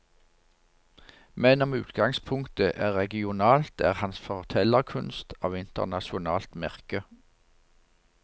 Men om utgangspunktet er regionalt, er hans fortellerkunst av internasjonalt merke.